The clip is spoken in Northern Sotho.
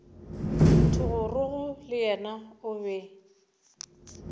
thogorogo le yena o be